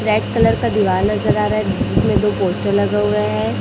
Black colour का दीवार नजर आ रहा है जिसमें दो पोस्टर लगा हुआ है।